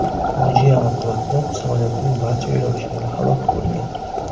Fojia oqibatida samolyotning barcha yo‘lovchilari halok bo‘lgan.